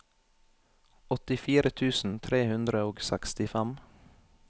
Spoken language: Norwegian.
åttifire tusen tre hundre og sekstifem